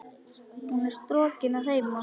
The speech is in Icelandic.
Hún er strokin að heiman.